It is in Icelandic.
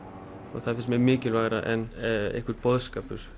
og það finnst mér mikilvægara heldur en einhver boðskapur